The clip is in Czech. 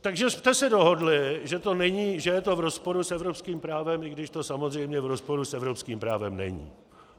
Takže jste se dohodli, že je to v rozporu s evropským právem, i když to samozřejmě v rozporu s evropským právem není.